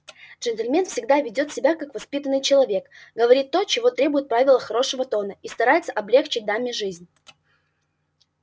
джентльмен всегда ведёт себя как воспитанный человек говорит то чего требуют правила хорошего тона и старается облегчить даме жизнь